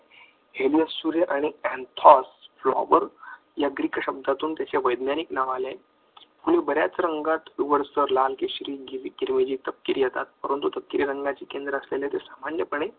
helias सूर्य आणि anthos या Greek शब्दातून त्याचे वैज्ञानिक नाव आले आहे म्हणून बऱ्याच रंगात लाल येतात परंतु रंगाची केंद्र असलेले सामान्यपण